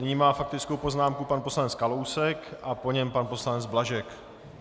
Nyní má faktickou poznámku pan poslanec Kalousek a po něm pan poslanec Blažek.